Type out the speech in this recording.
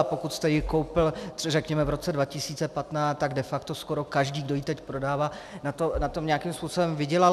A pokud jste ji koupil řekněme v roce 2015, tak de facto skoro každý, kdo ji teď prodává, na tom nějakým způsobem vydělal.